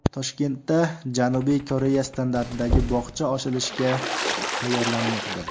Toshkentda Janubiy Koreya standartidagi bog‘cha ochilishga tayyorlanmoqda .